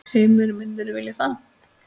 Heimir: Myndirðu vilja það?